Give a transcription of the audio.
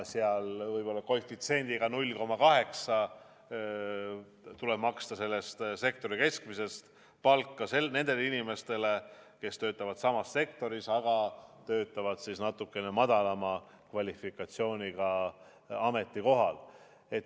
Ja võib-olla koefitsiendiga 0,8 tuleb maksta selle sektori keskmist palka nendele inimestele, kes töötavad samas sektoris, aga natukene madalama kvalifikatsiooniga ametikohal.